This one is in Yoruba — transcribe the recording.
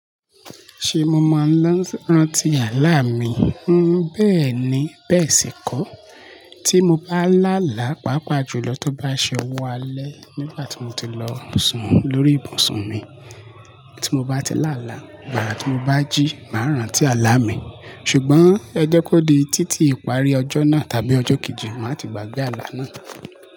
Ṣé mo maa rántí àlá mi? Bẹ́ẹ̀ ni, bẹ́ẹ̀ sì kọ́. Tí mo bá làálá, pàápàá jùlọ tó bá ṣe owo alẹ́, nígbà tí mo ti lọ sùn lórí ibùsùn mi. Tí mo bá ti làálá, gbara tí mo bá jí, máa rántí àlá mi. Ṣùgbọ́n ẹ jẹ́ kó di títí ìparí ọjọ́ náà tàbí ọjọ́ kejì, màá ti gbàgbé àlá náà.